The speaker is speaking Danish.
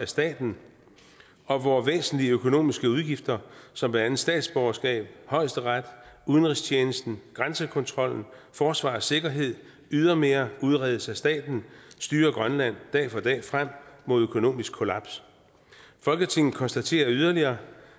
af staten og hvor væsentlige økonomiske udgifter som blandt andet statsborgerskab højesteret udenrigstjenesten grænsekontrollen forsvar og sikkerhed ydermere udredes af staten styrer grønland dag for dag frem mod økonomisk kollaps folketinget konstaterer yderligere